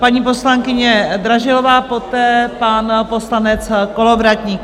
Paní poslankyně Dražilová, poté pan poslanec Kolovratník.